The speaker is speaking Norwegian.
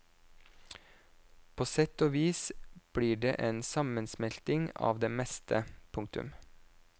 På sett og vis blir det en sammensmelting av det meste. punktum